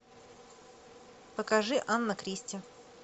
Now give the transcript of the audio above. покажи анна кристи